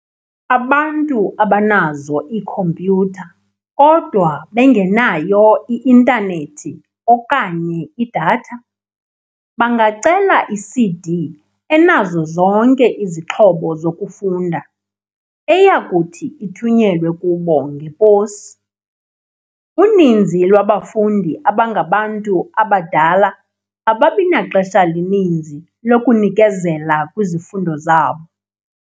Abantu abanazo iikhompyutha kodwa bengenayo i-intanethi okanye i-data, bangacela i-CD enazo zonke izixhobo zokufunda, eyakuthi ithunyelwe kubo ngeposi. "Uninzi lwabafundi abangabantu abadala ababi naxesha lininzi lokunikezela kwizifundo zabo."